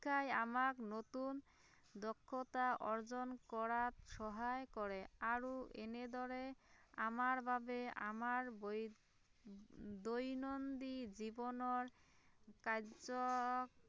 শিক্ষাই আমাক নতুন দখ্য়তা অৰ্জন কৰাত সহায় কৰে আৰু এনে দৰে আমাৰ বাবে আমাৰ বৈ দৈনন্দিন জীৱনৰ কাৰ্য